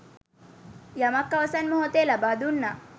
යමක් අවසන් මෙහොතේ ලබා දුන්නා